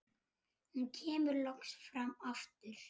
Hún kemur loks fram aftur.